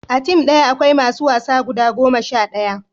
a tim daya akwai masu wasa guda goma sha ɗaya